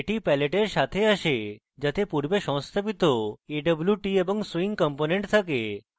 এটি palette এর সাথে আসে যাতে পূর্বে সংস্থাপিত awt এবং swing component থাকে